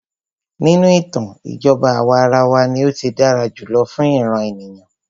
Nínú ìtàn, ìjọba àwàrawa ní o tí dára jùlọ fún ìràn ènìyàn.